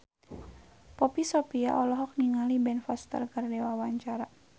Poppy Sovia olohok ningali Ben Foster keur diwawancara